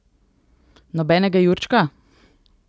Nobenega jurčka?